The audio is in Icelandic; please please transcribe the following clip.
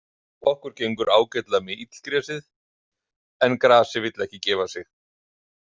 Okkur gengur ágætlega með illgresið, en grasið vill ekki gefa sig.